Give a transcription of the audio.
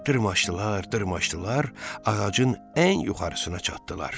Dırmaşdılar, dırmaşdılar, ağacın ən yuxarısına çatdılar.